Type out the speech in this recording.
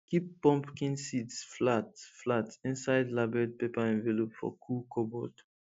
keep pumpkin seeds flat flat inside labelled paper envelope for cool cupboard